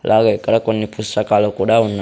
అలాగే ఇక్కడ కొన్ని పుస్తకాలు కూడా ఉన్నా --